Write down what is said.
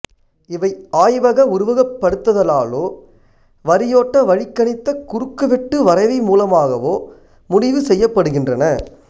இவை ஆய்வக உருவகப்படுத்துதலாலோ வரியோட்டவழிக் கணித்த குறுக்குவெட்டு வரைவி மூலமாகவோ முடிவு செய்யப்படுகின்றன